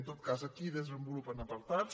en tot cas aquí desenvolupen apartats